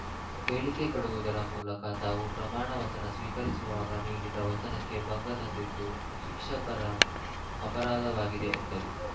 ಹೇಳಿಕೆ ಕೊಡುವುದರ ಮೂಲಕ ತಾವು ಪ್ರಮಾಣ ವಚನ ಸ್ವೀಕರಿಸುವಾಗ ನೀಡಿದ ವಚನಕ್ಕೆ ಭಂಗ ತಂದಿದ್ದು ಶಿಕ್ಷಕರ ಅಪರಾಧವಾಗಿದೆ ಎಂದರು